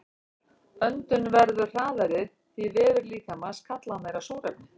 Öndun verður hraðari því vefir líkamans kalla á meira súrefni.